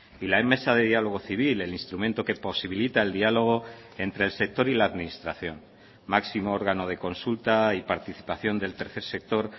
y la mesa de diálogo civil el instrumento que posibilita el diálogo entre el sector y la administración máximo órgano de consulta y participación del tercer sector